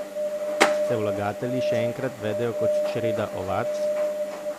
Se vlagatelji še enkrat vedejo kot čreda ovac?